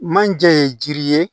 Manje ye jiri ye